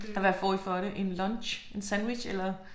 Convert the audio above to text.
Hvad får I for det? En lunch? En sandwich eller?